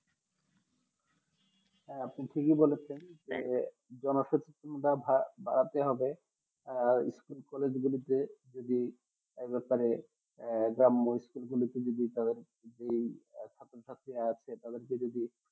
হ্যাঁ আপনি থাকি বলেছেন যে ভাব ভাব ভাবতে হবে যে school collage গুলিতে এই ব্যাপারে গ্রাম আছে তাদের কে যদি